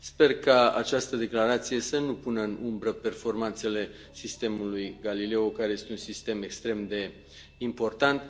Sper ca această declarație să nu pună în umbră performanțele sistemului Galileo, care este un sistem extrem de important.